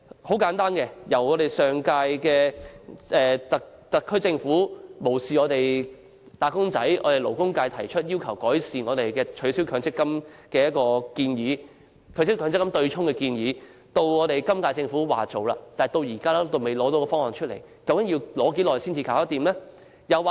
舉個簡單例子，由上屆特區政府無視勞工界提出取消強制性公積金對沖機制的建議，到今屆政府表示會落實相關建議，但至今仍未提交方案，究竟要多少時間才付諸實行？